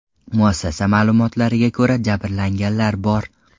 Muassasa ma’lumotlariga ko‘ra, jabrlanganlar bor.